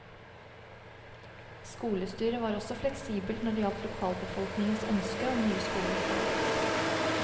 Skolestyret var også fleksibelt når det gjaldt lokalbefolkningens ønske om nye skolelokaler.